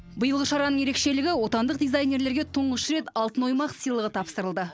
биылғы шараның ерекшелігі отандық дизайнерлерге тұңғыш рет алтын оймақ сыйлығы тапсырылды